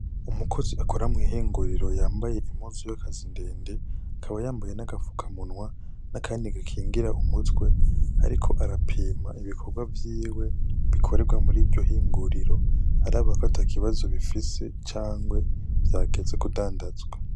Umukozi akora mw'ihinguriro yambaye impuzu y'akazi ndende, akaba yambaye n'agafukamunwa n'akandi gakingira umutwe; ariko arapima ibikorwa vyiwe bikorerwa muri iryo hinguriro araba ko ata kibazo bifise canke vyageze kudandazwa.